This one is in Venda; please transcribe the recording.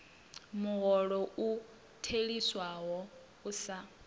muholo u theliswaho u sa